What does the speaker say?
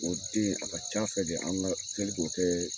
O den a ka ca fɛ de, an ga teli k'o kɛ